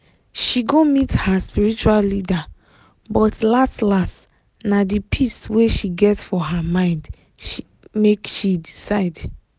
she go meet her spiritual leader but las-las na di peace wey she get for her mind make she decide.